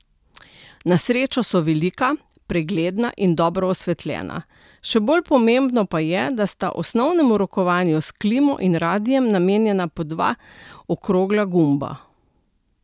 Na srečo so velika, pregledna in dobro osvetljena, še bolj pomembno pa je, da sta osnovnemu rokovanju s klimo in radiem namenjena po dva okrogla gumba.